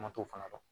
Ma t'o fana dɔn